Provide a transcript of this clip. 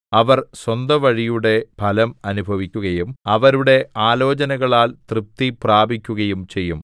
അവർ സ്വന്തവഴിയുടെ ഫലം അനുഭവിക്കുകയും അവരുടെ ആലോചനകളാൽ തൃപ്തി പ്രാപിക്കുകയും ചെയ്യും